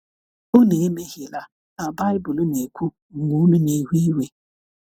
ụnụ emehiela ka Bibụlụ na - ekwụ, mgbe unu na - ewe iwe..